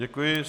Děkuji.